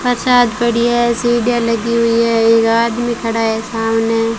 प्रसाद बढ़िया है सीढ़ियां लगी हुई है एक आदमी खड़ा है सामने।